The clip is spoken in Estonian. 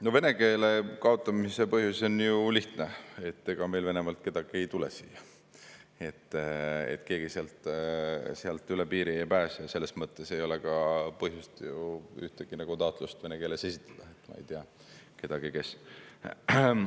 No vene keele kaotamise põhjus on ju lihtne: ega meil Venemaalt kedagi ei tule siia, keegi sealt üle piiri ei pääse ja selles mõttes ei ole ka põhjust ju ühtegi taotlust vene keeles esitada, ma ei tea kedagi, kes.